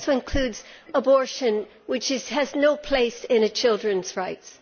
It also includes abortion, which has no place in children's rights.